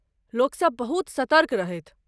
लोक सब बहुत सतर्क रहथि।